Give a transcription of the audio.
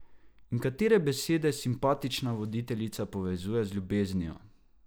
In katere besede simpatična voditeljica povezuje z ljubeznijo?